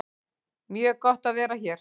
Mjög gott að vera hér